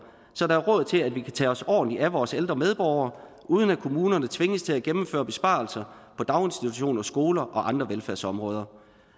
så der er råd til at vi kan tage os ordentligt af vores ældre medborgere uden at kommunerne tvinges til at gennemføre besparelser på daginstitutioner skoler og andre velfærdsområder